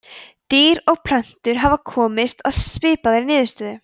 dýr og plöntur hafa komist að svipaðri niðurstöðu